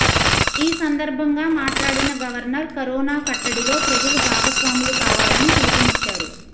ఈ సందర్భంగా మాట్లాడిన గవర్నర్ కరోనా కట్టడిలో ప్రజలు భాగస్వాములు కావాలని పిలుపునిచ్చారు